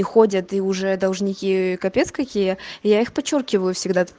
ходят и уже должники капец какие я их подчёркивать всегда